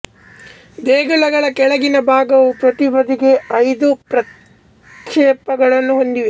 ದೇಗುಲಗಳ ಕೆಳಗಿನ ಭಾಗವು ಪ್ರತಿ ಬದಿಗೆ ಐದು ಪ್ರಕ್ಷೇಪಗಳನ್ನು ಹೊಂದಿದೆ